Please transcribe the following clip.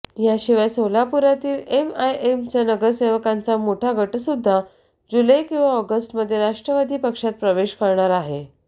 याशिवाय सोलापुरातील एमआयएम चा नगरसेवकांचा मोठा गटसुद्धा जुलै किंवा ऑगस्टमध्ये राष्ट्रवादी पक्षात प्रवेश करणार आहे